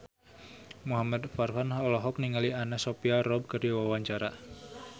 Muhamad Farhan olohok ningali Anna Sophia Robb keur diwawancara